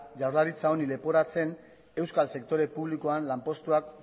jaurlaritza honi leporatzen euskal sektore publikoan lanpostuak